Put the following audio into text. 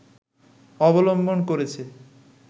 অবলম্বন করেছে